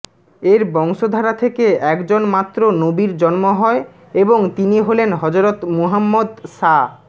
এর বংশধারা থেকে একজন মাত্র নবীর জন্ম হয় এবং তিনি হলেন হযরত মুহাম্মাদ সা